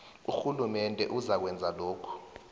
urhulumende uzakwenza lokhu